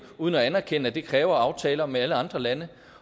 uden at anerkende at det kræver aftaler med alle andre lande